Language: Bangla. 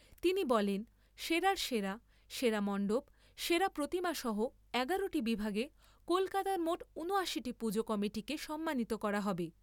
তিনি বলেন, সেরার সেরা, সেরা মন্ডপ, সেরা প্রতিমা সহ এগারো টি বিভাগে কলকাতার মোট উনআশিটি পুজো কমিটিকে সম্মানিত করা হবে।